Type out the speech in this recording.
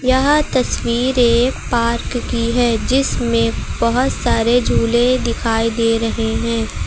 यह तस्वीर एक पार्क की है जिसमें बहोत सारे झूले दिखाई दे रहे हैं।